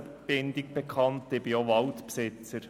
Ich bin auch Waldbesitzer.